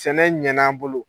Sɛnɛ ɲɛn'an bolo.